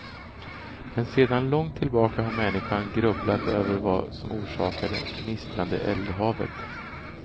Men sedan långt tillbaka har människan grubblat över vad som orsakar det gnistrande eldhavet.